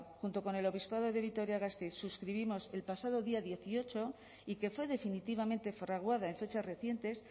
junto con el obispado de vitoria gasteiz suscribimos que el pasado día dieciocho y que fue definitivamente fraguado en fechas recientes